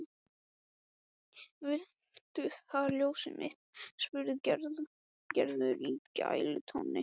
Viltu það ljósið mitt? spurði Gerður í gælutóni.